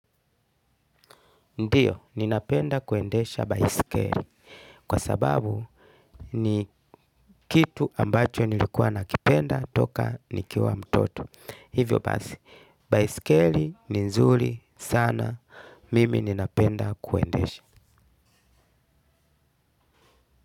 Ndio, ninapenda kuendesha baiskeli kwa sababu ni kitu ambacho nilikuwa nakipenda toka nikiwa mtoto. Hivyo basi, baiskeli ni nzuri sana mimi ninapenda kuendesha.